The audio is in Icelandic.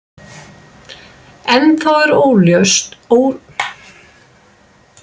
Ennþá er óljóst hvar bakvörðurinn Guðjón Árni Antoníusson mun spila næsta sumar.